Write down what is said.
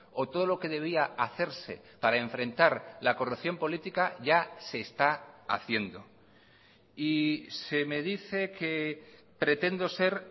o todo lo que debía hacerse para enfrentar la corrupción política ya se está haciendo y se me dice que pretendo ser